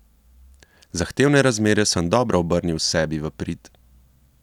Zahtevne razmere sem dobro obrnil sebi v prid.